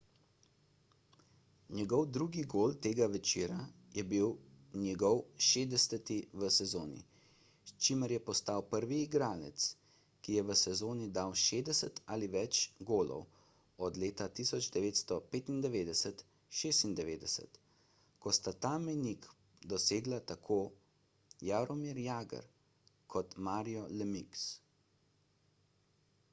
njegov drugi gol tega večera je bil njegov 60 v sezoni s čimer je postal prvi igralec ki je v sezoni dal 60 ali več golov od leta 1995–96 ko sta ta mejnik dosegla tako jaromir jagr kot mario lemieux